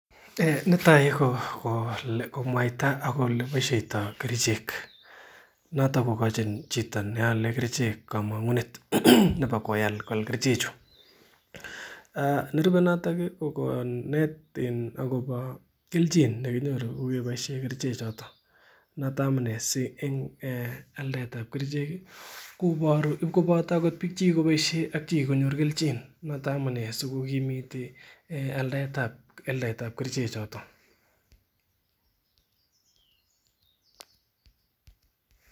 Netai ko komwaita oleboishaitoi kerichek noto kokochi chito neale kerichek kamang'unet nebo koal kerichek chu , nerube noton ih ko konet akobo kelchin en chito netinye kerichek choto noto amuune si altab kerichek kobaru bik chekikobaishen ak bik chekikonyor kelchin koboto chekikonyorunen kelchin.